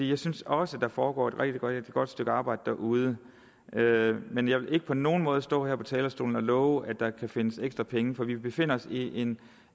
jeg synes også at der foregår et rigtig godt stykke arbejde derude men jeg vil ikke på nogen måde stå her på talerstolen og love at der kan findes ekstra penge for vi befinder os i en